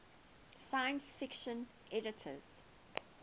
science fiction editors